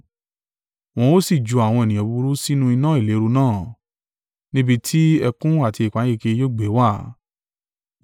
Wọn ó sì ju àwọn ènìyàn búburú sínú iná ìléru náà, ní ibi ti ẹkún àti ìpayínkeke yóò gbé wà.”